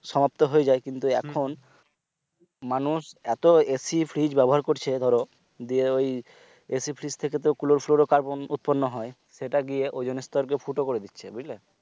সমাপ্ত হয়ে যায় কিন্তু এখন মানুষ এতো AC fridge ব্যবহার করছে ধরো দিয়ে ওই AC fridge থেকে ক্লোরো ফ্লোর কার্বন উৎপর্ন হয় সেটা গিয়ে ওজোনস্তর কে ফুটো করে দিচ্ছে বুঝলে